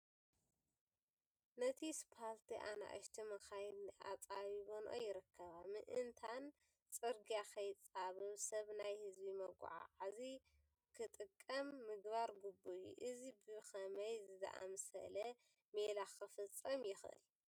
ነቲ ስፋልቲ ኣናእሽቱ መኻይን ኣፃቢበንኦ ይርከባ፡፡ ምእንታን ፅርጊያ ከይፃበብ ሰብ ናይ ህዝቢ መጓጓዝ ክጥቀም ምግባር ግቡእ እዩ፡፡ እዚ ብኸመይ ዝኣምሰለ ሜላ ክፍፀም ይኽእል፡፡